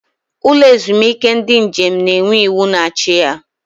Ụlọ ezumike ndị njem na-enwe iwu na-achị ya.